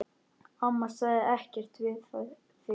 Amma sagði ekkert við því.